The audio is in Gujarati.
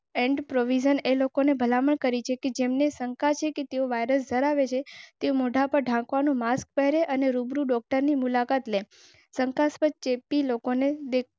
એન્ડ પ્રોવિઝન એ લોકો ને ભલામણ કરી છે કે જેમને શંકા છે કે તેઓ વાયરસ ધરાવે છે. મોટા પર ઠાકુર માસ્ક પહેરે અને રૂબરૂ મુલાકાત લે શંકાસ્પદ ચેપી લોકોને.